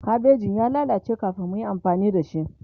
kabejin ya lallace kamin muyi amfani da shi